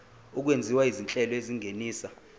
okwenziwa izinhlelo ezingenisa